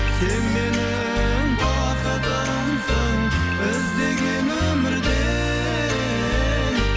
сен менің бақытымсың іздеген өмірде